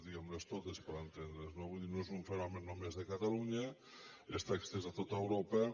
diguem les totes per entendre’ns no vull dir no és un fenomen només de catalunya està estès a tot europa